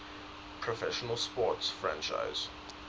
professional sports franchise